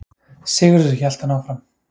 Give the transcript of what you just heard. Sigurður, hélt hann áfram.